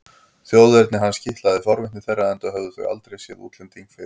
Þjóðerni hans kitlaði forvitni þeirra enda höfðu þau aldrei séð útlending fyrr.